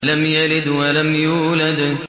لَمْ يَلِدْ وَلَمْ يُولَدْ